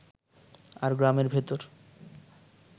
আর গ্রামের ভেতর